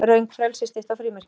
Röng frelsisstytta á frímerkinu